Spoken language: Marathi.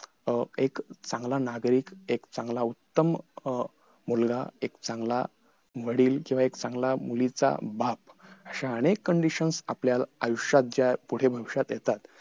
अं एक चांगला नागरिक एक चांगला उत्तम अं मुलगा एक चांगला वडील जेव्हा एक चांगला मुलीचा बाप अशा अनेक conditions आपल्या आयुष्यात ज्या पुढे भविष्यात येतात